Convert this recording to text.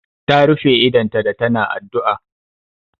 Ta rufe idonta da ta na addu'a